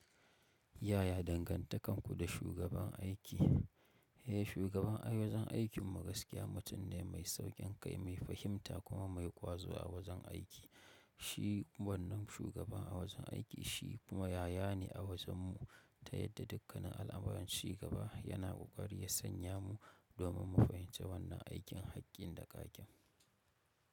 Yaya dangantakarku da shugaban aiki? Eh, shugaban a wajen aikin mu gaskiya mutum ne mai sauƙin kai, mai fahimta kuma mai ƙwazo a wajen aiki. Shi wannan shugaba a wajen aiki, shi kuma yaya ne a wajen mu. Ta yadda dukkanin al'amuran chi gaba yana ƙoƙari ya sanya mu domin mu fahimci wannan aikin hakkin da ƙaƙin.